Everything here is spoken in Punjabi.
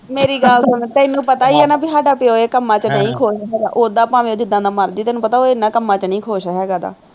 ਮੇਰੀ ਗੱਲ ਸੁਣ, ਤੈਨੂੰ ਪਤਾ ਹੀ ਹੈ ਨਾ, ਬਈ ਸਾਡਾ ਪਿਉ ਇਹ ਕੰਮਾਂ ਚ ਨਹੀਂ ਖੁਸ਼, ਉਦਾਂ ਭਾਵੇਂ ਉਹ ਜਿਦਾਂ ਦਾ ਮਰਜ਼ੀ, ਤੈਨੂੰ ਪਤਾ ਉਹ ਇਹਨਾ ਕੰਮਾਂ ਚ ਨਹੀਂ ਖੁਸ਼ ਹੈਗਾ ਡਾ